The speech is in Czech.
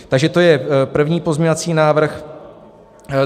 Takže to je první pozměňovací návrh.